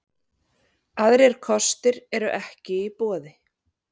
Aðrir kostir eru ekki í boði